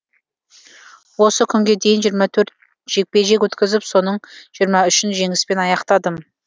осы күнге дейін жиырма төрт жекпе жек өткізіп соның жиырма үшін жеңіспен аяқтадым